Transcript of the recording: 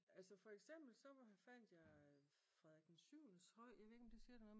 Altså for eksempel så fandt jeg Frederik 7.'s høj. Jeg ved ikke om det siger dig noget?